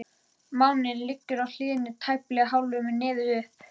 Máninn liggur á hliðinni, tæplega hálfur með nefið upp.